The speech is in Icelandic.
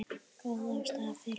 Góð ástæða er fyrir því.